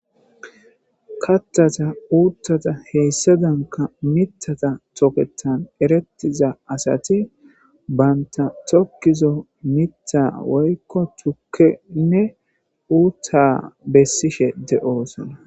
kathata uuthata heyssadanka mitata toketan erettiza asati banta tokkizo mitta woykko tukkenne uutta bessishe de7oosona